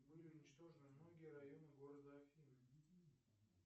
были уничтожены многие районы города афины